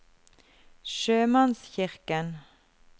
sjømannskirken